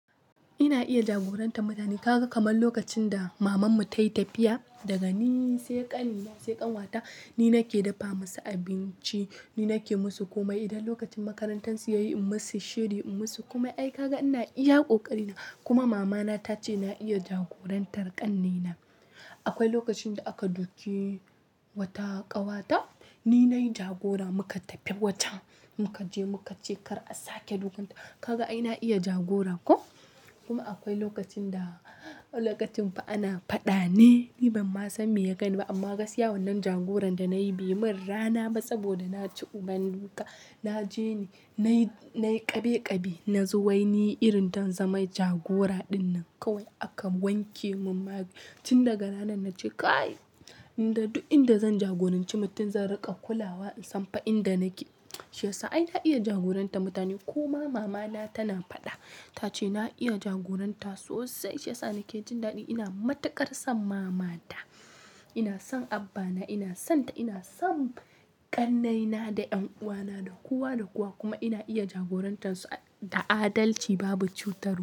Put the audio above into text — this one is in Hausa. Ina iya jagorantar mutane. Kaga kamar lokacin da mamanmu ta yi tafiya, daga ni sai ƙannena sai ƙawata, ni nake dafa musu abinci, ni nake musu komai. Idan lokacin makarantarsu ya yi, in musu shiri, in musu komai. Ai kaga ina iya ƙoƙari na. Kuma mamana ta ce na iya jagorantar ƙannena. Akwai lokacin da aka duke wata ƙawata, ni na yi jagora muka tafi wata muka je muka ce kar a sake dukan ta. Kaga ai na iya jagora ko? Kuma akwai lokacin da, lokacin fa ana faɗa ne, ni ban ma san me ya gani ba amma gaskiya wannan jagoran da na yi bai min rana ba saboda na ci uban duka. Na je ni, na yi, na yi ƙabe ƙabe, na zuwa yi ni irin don zama jagora dinnan kawai aka wanke mun mari. Cin daga ranan na ce "Kai, in da duk inda zan jagoranci mutum zan riƙa kulawa in san fa inda nake." shi ya sa ai na iya jagorantar mutane. Kuma mamana tana faɗa, ta ce na iya jagoranta sosai. Shi ya sa nake jin daɗi. Ina matuƙar son mamata, ina son abba na, ina son ta, ina son ƙannaina da ƴan uwana da kowa da kowa kuma ina iya jagorantarsu da adalci babu cutarwa.